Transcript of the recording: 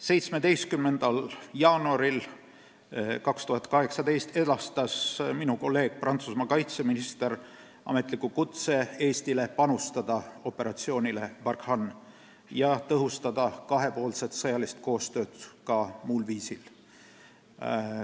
17. jaanuaril 2018 edastas minu kolleeg Prantsusmaa kaitseminister Eestile ametliku kutse anda oma panus operatsioonis Barkhane ja tõhustada kahepoolset sõjalist koostööd ka muul viisil.